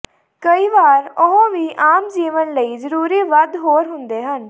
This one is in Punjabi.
ਕਈ ਵਾਰੀ ਉਹ ਵੀ ਆਮ ਜੀਵਨ ਲਈ ਜ਼ਰੂਰੀ ਵੱਧ ਹੋਰ ਹੁੰਦੇ ਹਨ